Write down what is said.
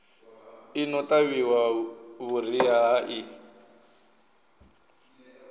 i no ṱavhiwa vhuriha i